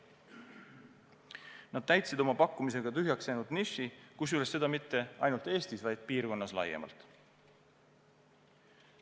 Nad täitsid oma pakkumisega tühjaks jäänud niši, kusjuures seda mitte ainult Eestis, vaid piirkonnas laiemalt.